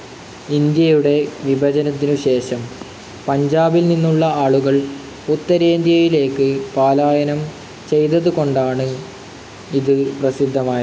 ഇന്ത്യയുടെ വിഭജനത്തിനു ശേഷം പഞ്ചാബിൽനിന്നുള്ള ആളുകൾ ഉത്തരേന്ത്യയിലേക്ക് പലായനം ചെയ്തതുകൊണ്ടാണ് ഇത് പ്രസിദ്ധമായത്.